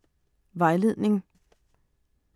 Vejledning: